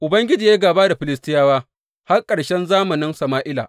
Ubangiji ya yi gāba da Filistiyawa har ƙarshen zamanin Sama’ila.